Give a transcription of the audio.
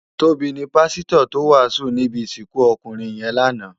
Tobi ni pàsitò tó wásùn ni ibi isikun ókúnrin yèn láná